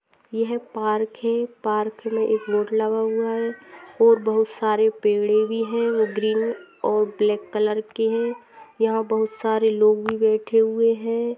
यह पार्क है पार्क में एक बोर्ड लगा हुवा है और बहुत सारे पेड़े भी है ग्रीन और ब्लेक कलर के है यहा बहुत सारे लोग भी बेठे हुए है।